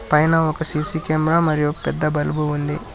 పైన ఒక CC camera మరియు పెద్ద బలుపు ఉంది.